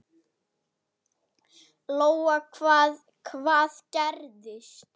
Lóa: Hvað, hvað gerðist?